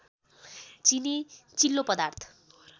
चिनी चिल्लो पदार्थ